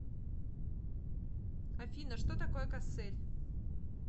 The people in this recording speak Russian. афина что такое кассель